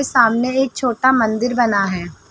सामने एक छोटा मंदिर बना है।